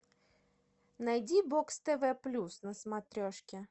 найди бокс тв плюс на смотрешке